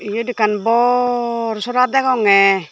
eyot ekkan bor sora degonge.